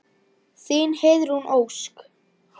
Þín, Heiðrún Ósk.